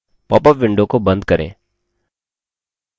popअप window को बंद करें